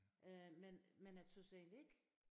Øh men men jeg tøs egentlig ikke